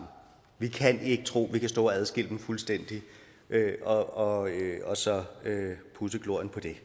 vi kan ikke tro at vi kan stå og adskille dem fuldstændig og og så pudse glorien af